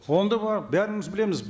ол да бар бәріміз білеміз